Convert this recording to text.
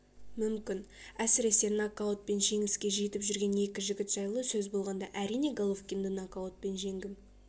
мүмкін әсіресе нокаутпен жеңіске жетіп жүрген екі жігіт жайлы сөз болғанда әрине головкинді нокаутпен жеңгім